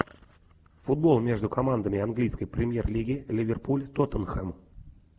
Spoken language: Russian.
футбол между командами английской премьер лиги ливерпуль тоттенхэм